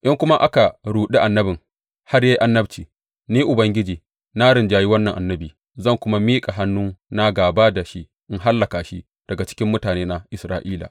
In kuma aka ruɗi annabin har ya yi annabci, Ni Ubangiji na rinjayi wannan annabi, zan kuma miƙa hannuna gāba da shi in hallaka shi daga cikin mutanena Isra’ila.